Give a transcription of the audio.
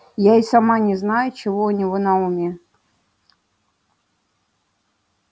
я и сама не знаю чего у него на уме